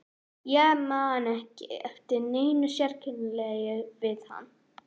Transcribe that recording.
Ég man ekki eftir neinu sérkennilegu við hann.